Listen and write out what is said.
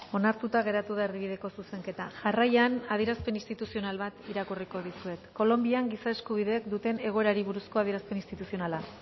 onartuta geratu da erdibideko zuzenketa jarraian adierazpen instituzional bat irakurriko dizuet kolonbian giza eskubideek duten egoerari buruzko adierazpen instituzionala